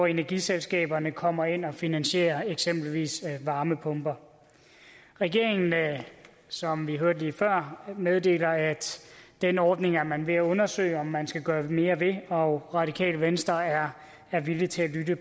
energiselskaberne kommer ind og finansierer eksempelvis varmepumper regeringen som vi hørte lige før meddeler at den ordning er man ved at undersøge om man skal gøre mere ved og radikale venstre er er villig til at lytte